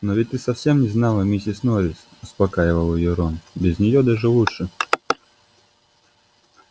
но ведь ты совсем не знала миссис норрис успокаивал её рон без нее даже лучше